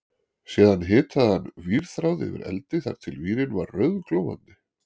Síðan hitaði hann vírþráð yfir eldi þar til vírinn var rauðglóandi